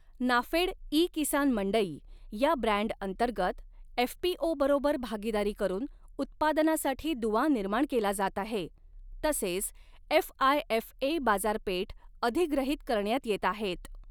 NAFED e Kisan Mandi या ब्रँडअंतर्गत एफपीओबरोबर भागीदारी करून उत्पादनासाठी दुवा निर्माण केला जात आहे तसेच एफआयएफए बाजारपेठ अधिग्रहित करण्यात येत आहेत.